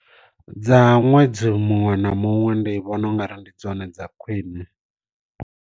Dza ṅwedzi muṅwe na muṅwe ndi vhona ungari ndi dzone dza khwiṋe.